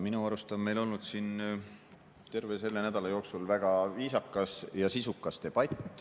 Minu arust on meil olnud siin terve selle nädala jooksul väga viisakas ja sisukas debatt.